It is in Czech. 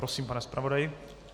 Prosím, pane zpravodaji.